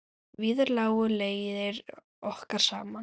Víðar lágu leiðir okkar saman.